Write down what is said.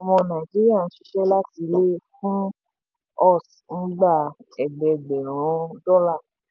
ọmọ nàìjíríà n ṣiṣẹ́ láti ilé fún us n gbà ẹgbẹẹgbẹ̀rún dọ́là.